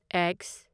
X